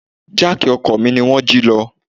Jáákì ọkọ̀ mi ni wón jí lọ.